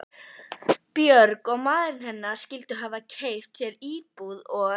Björg og maðurinn hennar skyldu hafa keypt sér íbúð og